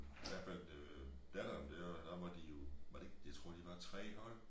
I hvert fald øh datteren dér der måtte de jo var det ikke jeg tror de var 3 hold